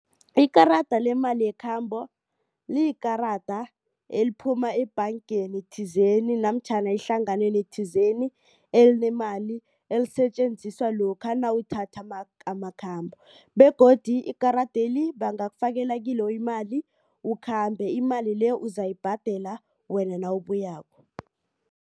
Ikarada lemali yekhambo liyikarada eliphuma ebhangeni thizeni namtjhana ehlanganweni thizeni elinemali elisetjenziswa lokha nawuthatha amakhambo begodu ikaradeli bangakufakela kilo imali ukhambe imali le uzayibhadela wena nawubuyako.